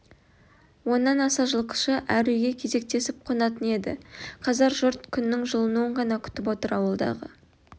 оннан аса жылқышы әр үйге кезектесіп қонатын еді қазір жұрт күннің жылынуын ғана күтіп отыр ауылдағы